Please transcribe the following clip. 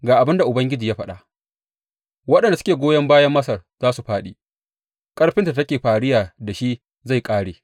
Ga abin da Ubangiji ya faɗa, Waɗanda suke goyon bayan Masar za su fāɗi ƙarfinta da take fariya da shi zai ƙare.